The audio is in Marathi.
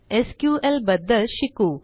एसक्यूएल बद्दल शिकू